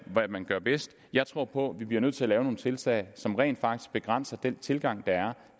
hvad man gør bedst jeg tror på at vi bliver nødt til lave nogle tiltag som rent faktisk begrænser den tilgang der er